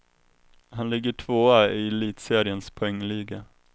Han ligger tvåa i elitseriens poängliga.